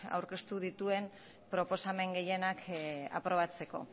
aurkeztu dituen proposamen gehienak aprobatzeko